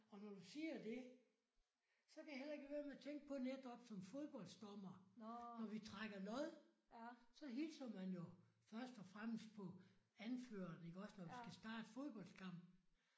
Og når du siger det så kan jeg heller ikke lade være med at tænke på netop som fodboldsdommer når vi trækker lod så hilser man jo først og fremmest på anføreren iggås når du skal starte fodboldskamp